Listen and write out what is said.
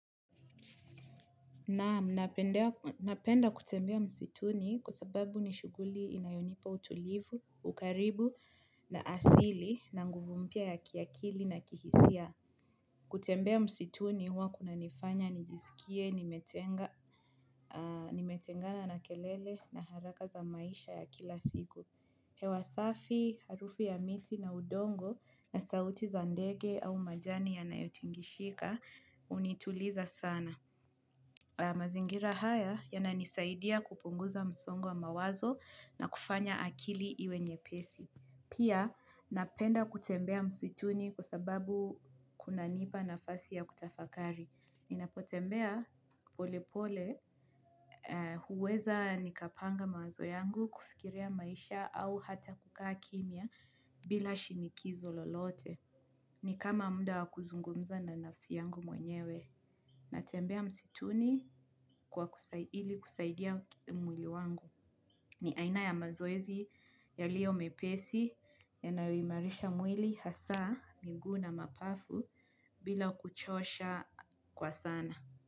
Naam napenda kutembea msituni kusababu nishuguli inayonipa utulivu, ukaribu na asili na nguvu mpya ya kiakili na kihisia. Kutembea msituni huwa kunanifanya, nijiskie, nimetengana na kelele na haraka za maisha ya kila siku. Hewa safi, harufu ya miti na udongo na sauti za ndege au majani yanayotingizika hunituliza sana. Mazingira haya yananisaidia kupunguza musongo wa mawazo na kufanya akili iwe nyepesi. Pia napenda kutembea msituni kwa sababu kunanipa nafasi ya kutafakari. Ninapotembea polepole huweza nikapanga mawazo yangu kufikiria maisha au hata kukaa kimya bila shinikizo lolote. Nikama mda wakuzungumza na nafsi yangu mwenyewe. Natembea msituni kwa ili kusaidia mwili wangu. Ni aina ya mazoezi yaliyo mepesi yanayoimarisha mwili hasa miguu na mapafu bila kuchosha kwa sana.